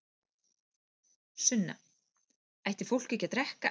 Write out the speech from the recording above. Sunna: Ætti fólk ekki að drekka?